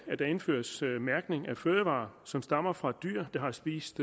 at der indføres mærkning af fødevarer som stammer fra dyr der har spist